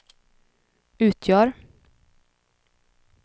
utgör